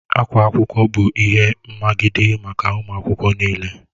Akwa akwụkwọ bụ ihe mmagide maka ụmụ akwụkwọ n'ile